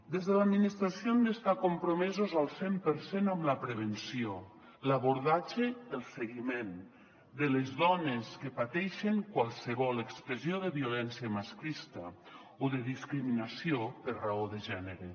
des de l’administració hem d’estar compromesos al cent per cent amb la prevenció l’abordatge el seguiment de les dones que pateixen qualsevol expressió de violència masclista o de discriminació per raó de gènere